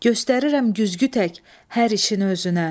Göstərirəm güzgü tək hər işini özünə.